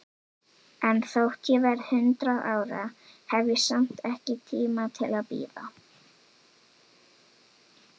En þótt ég verði hundrað ára, hef ég samt ekki tíma til að bíða.